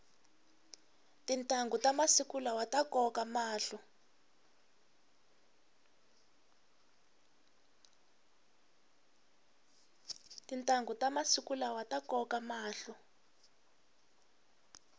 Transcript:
tintanghu ta masiku lawa ta koka mahlo